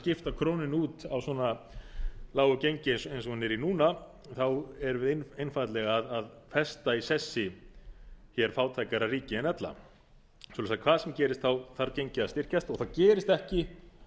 skipta krónunni út á svona lágu gengi eins og hún er í núna þá erum við einfaldlega að festa í sessi fátækara ríki en ella svo að hvað sem gerist þarf gengið að styrkjast og það gerist ekki